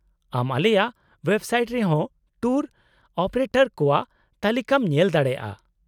-ᱟᱢ ᱟᱞᱮᱭᱟᱜ ᱳᱭᱮᱵᱥᱟᱭᱮᱴ ᱨᱮ ᱦᱚᱸ ᱴᱩᱨ ᱚᱯᱟᱨᱮᱴᱚᱨ ᱠᱚᱣᱟᱜ ᱛᱟᱞᱤᱠᱟᱢ ᱧᱮᱞ ᱫᱟᱲᱮᱭᱟᱜᱼᱟ ᱾